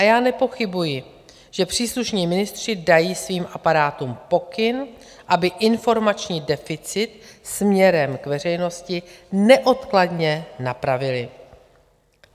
A já nepochybuji, že příslušní ministři dají svým aparátům pokyn, aby informační deficit směrem k veřejnosti neodkladně napravily.